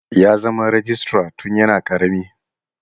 Ya zama rejistra tun yana karami.